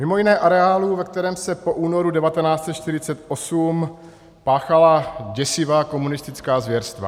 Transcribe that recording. Mimo jiné areálu, ve kterém se po únoru 1948 páchala děsivá komunistická zvěrstva.